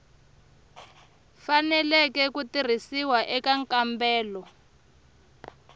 faneleke ku tirhisiwa eka nkambelo